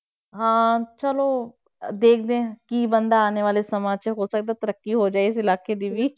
ਹਾਂ ਚਲੋ ਦੇਖਦੇ ਹਾਂ, ਕੀ ਬਣਦਾ ਆਉਣ ਵਾਲੇ ਸਮੇਂ 'ਚ, ਹੋ ਸਕਦਾ ਤਰੱਕੀ ਹੋ ਜਾਏ ਇਸ ਇਲਾਕੇ ਦੀ ਵੀ।